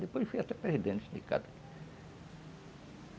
Depois fui até perdendo o sindicato.